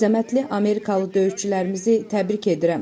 Əzəmətli Amerikalı döyüşçülərimizi təbrik edirəm.